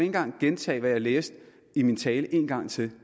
engang gentage hvad jeg læste i min tale en gang til